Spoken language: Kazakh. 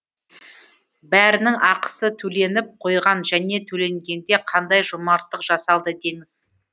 бәрінің ақысы төленіп қойған және төленгенде қандай жомарттық жасалды деңіз